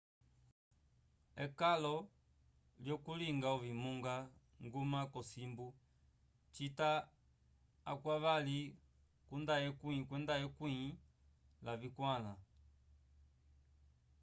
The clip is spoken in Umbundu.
ekalo lyokulinga ovinguma nguma cosimbu cita akwyavali kunda ekwĩ lavikwala